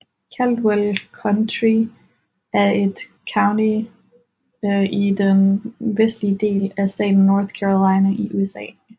Caldwell County er et county i den vestlige del af staten North Carolina i USA